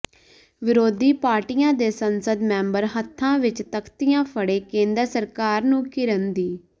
ਵਿਰੋਧੀ ਪਾਰਟੀਆਂ ਦੇ ਸੰਸਦ ਮੈਂਬਰ ਹੱਥਾਂ ਵਿੱਚ ਤਖ਼ਤੀਆਂ ਫੜੇ ਕੇਂਦਰ ਸਰਕਾਰ ਨੂੰ ਘਿਰਨ ਦੀ